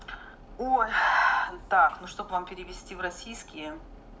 ой так ну чтобы вам перевести в российские